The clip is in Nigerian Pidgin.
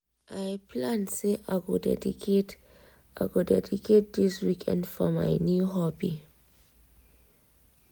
i plan say i go dedicate i go dedicate this weekend for my new hobby.